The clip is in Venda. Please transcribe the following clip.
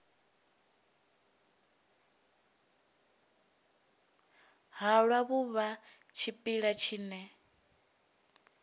halwa vhu vha tshipiḓa tshine